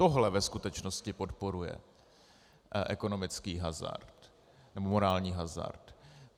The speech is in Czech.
Tohle ve skutečnosti podporuje ekonomický hazard nebo morální hazard.